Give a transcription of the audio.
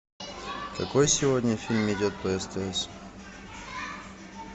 какой сегодня фильм идет по стс